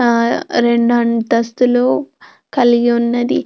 ఆ రెండు అంతస్తులు కలిగి ఉన్నది స్కూల్ పేరు.